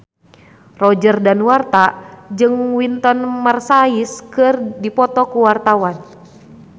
Roger Danuarta jeung Wynton Marsalis keur dipoto ku wartawan